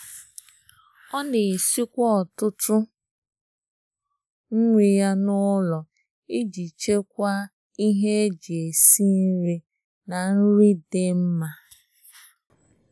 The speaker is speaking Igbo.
Ọ na-esikwa ọtụtụ nri ya n’ụlọ iji chịkwaa ihe iji chịkwaa ihe eji esi nri na nri dị mma.